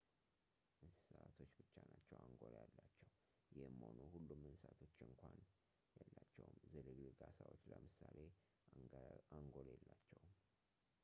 እንስሳቶች ብቻ ናቸው አንጎል ያላቸው ይህም ሆኖ ሁሉም እንስሳቶች እንኳን የላቸውም፣ ዝልግልግ ዓሣዎች ለምሳሌ አንጎል የላቸውም